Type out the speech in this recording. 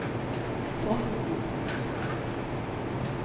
frosten